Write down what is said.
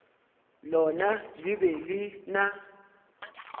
lona le be le na